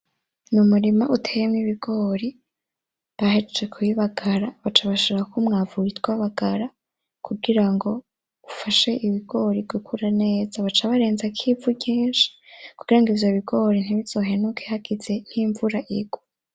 Ni umurima uteyemwo ibigori bahejeje kubibagara baca bashiramwo umwavu witwa bagara kugirango bafashe ibigori gukura neza. Baca barenzako ivu ryinshi kugira ngo ivyo bigori ntibize bihenuke hageze nkimvura irwa.